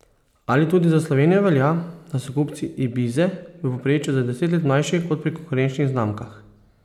Ali tudi za Slovenijo velja, da so kupci ibize v povprečju za deset let mlajši, kot pri konkurenčnih znamkah?